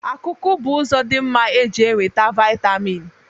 Akụkụ bụ ụzọ dị mma e ji enweta vịatamịn